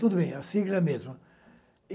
Tudo bem, a sigla é a mesma.